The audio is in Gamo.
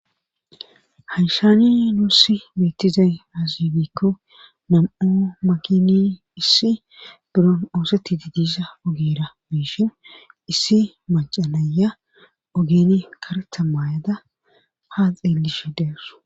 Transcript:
Hayshaane nuussi mettizay aazibikko nam7o makini issi biron oosetti didiisha ogeera biishen issi macanaya ogene kareta maayada ha xeellishe deersu.